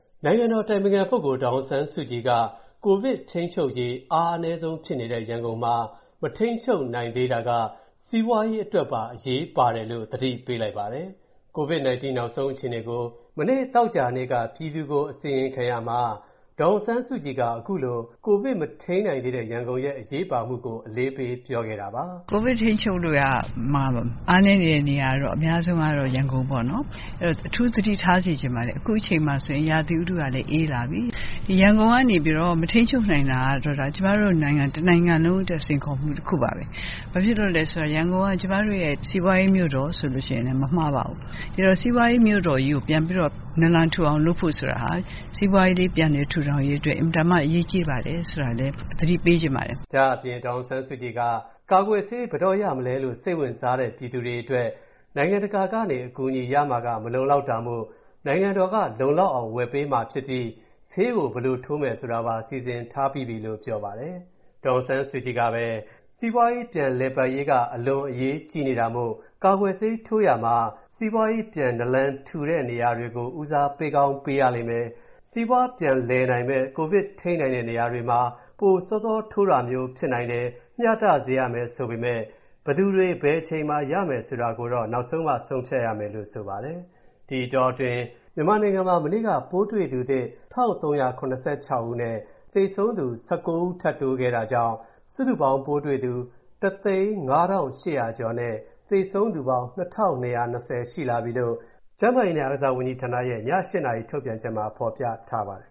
နိုင်ငံတော်အတိုင်ပင်ခံပုဂ္ဂိုလ် ဒေါ်အောင်ဆန်းစုကြည်က ကိုဗစ်ထိန်းချုပ်ရေး အားအနည်းဆုံးဖြစ်နေတဲ့ ရန်ကုန်မှာမှာ မထိန်းချုပ်နိုင်သေးတာက စီးပွားရေးအတွက်ပါ အရေးပါတယ်လို့ သတိပေးလိုက်ပါတယ်။ ကိုဗစ်-19 နောက်ဆုံးအခြေအနေကို မနေ့ သောကြာနေ့က ပြည်သူကို အစီရင်ခံရာမှာ ဒေါ်အောင်ဆန်းစုကြည်က ခုလို ကိုဗစ်မထိန်းနိုင်သေးတဲ့ရန်ကုန်ရဲ့ အရေးပါမူကို အလေးပေးပြောခဲ့တာပါ။ “ကိုဗစ်ထိန်းချုပ်ရာမှာ အားနည်းနေတဲ့ နေရာအများဆုံးကတော့ ရန်ကုန်ပေါ့။ အဲဒီတော့ အထူးသတိထားစေချင်ပါတယ်။ အခုအချိန်မှာဆိုရင် ရာသီဥတုကလည်း အေးလာပြီ။ ရန်ကုန်ကနေပြီးတော့ မထိန်းချုပ်နိုင်တာကတော့ ကျမတို့ နိုင်ငံ တနိုင်ငံလုံးအတွက် စိန်ခေါ်မှု တခုပါပဲ။ ဘာဖြစ်လို့လဲဆိုတော့ ရန်ကုန်က ကျမတို့ရဲ့ စီးပွားရေးမြို့တော်ဆိုရင်လည်း မမှားပါဘူး။ အဲဒီတော့ စီးပွားရေးမြို့တော်ကြီးကို ပြန်ပြီးတော့ နာလန်ထူအောင် လုပ်ဖို့ဆိုတာဟာ စီးပွားရေး ပြန်လည်ထူထောင်ရေးအတွက် အင်မတန်မှ အရေးကြီးပါတယ်ဆိုတာလည်း သတိပေးချင်ပါတယ်။” ဒါအပြင် ဒေါ်အောင်ဆန်းစုကြည်က၊ ကာကွယ်ဆေးဘယ်တော့ရမလဲလို့ စိတ်ဝင်စားတဲ ပြည်သူတွေအတွက်၊ နိုင်ငံတကာကနေ အကူအညီရမှာက မလုံလောက်တာမို့ နိုင်ငံတော်က လုံလောက်အောင် ဝယ်ပေးမှာဖြစ်ပြီး ဆေးကို ဘယ်လိုထိုးမယ်ဆိုတာကိုပါ စီစဉ်ပြီးပြီလို့ ပြောပါတယ်။ ဒေါ်အောင်ဆန်းစုကြည်ကဆက်ပြီး၊ စီးပွားပြန်လည်ပတ်ရေးက အလွန်အရေးနေကြီးတာမို့၊ ကာကွယ်ဆေးထိုးရာမှာ စီးပွားရေးပြန်နလန်ထူနေတဲ့နေရာတွေကို ဦးစားပေးကောင်းပေးရလိမ့်မယ်၊ စီးပွားပြန်လည်နိုင်မဲ့ ကိုဗစ်ထိန်းနိုင်တဲ့နေရာတွေမှာ ပိုစောစောထိုးတာမျိုးဖြစ်နိုင်တယ်၊ မျှတစေရမယ်ဆိုပေမဲ့ ဘယ်သူတွေ ဘယ်အချိန်မှာရမယ်ဆိုတာကိုတော့ နောက်မှဆုံးဖြတ်ရမယ်လို့ ဆိုပါတယ်။ ဒီအတောအတွင်း မြန်မာနိုင်ငံမှာ မနေ့က ပိုးတွေ့သူသစ် ၁,၃၇၆ ဦးနဲ့၊ သေဆုံးသူ ၁၉ ထပ်တိုးခဲ့တာကြောင့် စုစုပေါင်းပိုးတွေ့သူ ၁၀၅,၈၀၀ ကျော်နဲ့ သေဆုံးသူပေါင်း ၂,၂၂၀ ရှိလာပြီလို့၊ ကျန်းမာရေးနဲ့အားကစားဝန်ကြီးဌာနရဲ့ ည နာရီထုတ်ပြန်ချက်မှာ ဖော်ပြထားပါတယ်